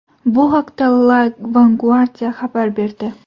Bu haqda La Vanguardia xabar berdi .